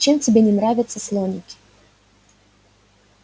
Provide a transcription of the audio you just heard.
чем тебе не нравятся слоники